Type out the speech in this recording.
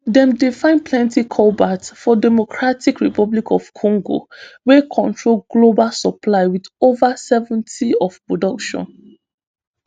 dem dey find plenty cobalt for democratic republic of congo wey control global supply wit over seventy of production